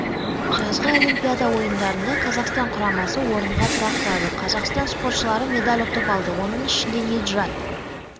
жазғы олимпиада ойындарында қазақстан құрамасы орынға тұрақтады қазақстан спортшылары медаль ұтып алды оның ішінде ниджат